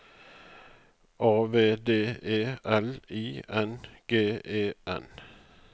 A V D E L I N G E N